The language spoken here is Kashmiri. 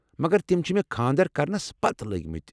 مگر تِمہٕ چھِ مےٚ خانٛدر کرنَس پتہٕ لگۍمٕتۍ۔